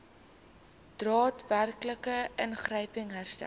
daadwerklike ingryping herstel